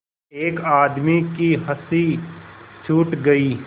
एक आदमी की हँसी छूट गई